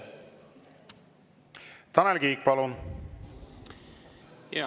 Tanel Kiik, palun!